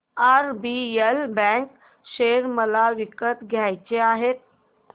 RBL bank share मला विकत घ्यायचे आहेत